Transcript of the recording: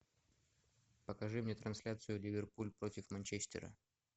покажи мне трансляцию ливерпуль против манчестера